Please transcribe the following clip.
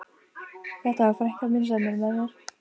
Þetta er frænka mín sem er með mér!